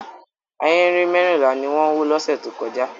Ahéré mẹ́rìnlá ni wọ́n wó lọ́sẹ̀ tó kọjá.